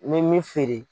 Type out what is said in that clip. N bɛ min feere